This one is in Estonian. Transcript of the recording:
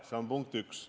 See on punkt üks.